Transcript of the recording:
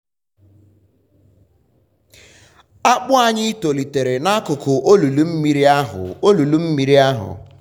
akpụ anyị tolitere n'akụkụ olulu mmiri ahụ. olulu mmiri ahụ.